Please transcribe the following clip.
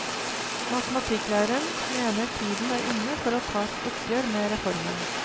Matematikklæreren mener tiden er inne for å ta et oppgjør med reformen.